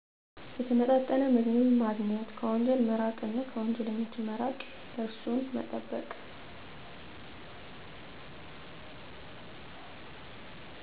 የተመጣጠነ ምግብ ማግኘት ከወንጀል መራቅ እና ከወንጀለኞች መራቅ እርሱን መጠበቅ